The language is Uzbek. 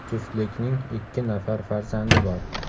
Juftlikning ikki nafar farzandi bor.